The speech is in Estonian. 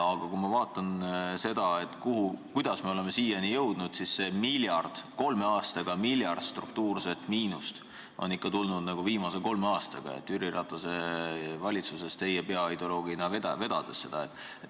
Aga kui ma vaatan seda, kuidas me oleme siiani jõudnud, siis see miljard struktuurset miinust on ikka tulnud viimase kolme aastaga Jüri Ratase valitsuse ajal, mida teie peaideoloogina vedasite.